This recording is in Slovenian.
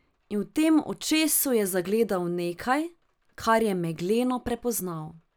In v tem očesu je zagledal nekaj, kar je megleno prepoznal.